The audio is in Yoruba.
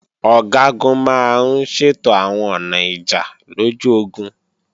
Ọ̀gágun máa ń ṣètò àwọn ọ̀nà ìjà lójú ogun